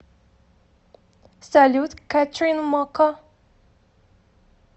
салют кэтрин мокко